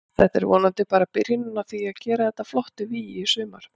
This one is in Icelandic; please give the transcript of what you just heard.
Þetta er vonandi bara byrjunin á því að gera þetta að flottu vígi í sumar.